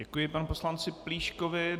Děkuji panu poslanci Plíškovi.